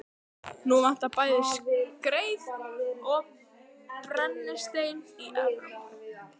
Nú vantar bæði skreið og brennistein í Evrópu.